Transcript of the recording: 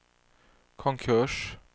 konkurs